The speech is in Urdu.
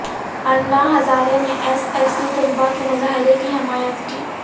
انا ہزارے نے ایس ایس سی طلبہ کے مظاہرہ کی حمایت کی